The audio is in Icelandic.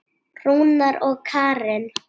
Rúnar og Karen.